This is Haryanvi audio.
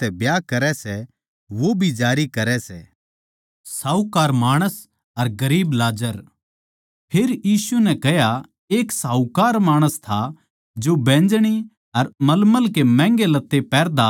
उदाहरण के तौर पै जो कोए अपणी घरआळी नै छोड़कै दुसरी तै ब्याह करै सै वो जारी करै सै अर जो कोए इसी छोड्डी होई बिरबान्नी तै ब्याह करै सै वो भी जारी करै सै